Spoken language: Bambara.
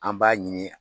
An b'a ɲini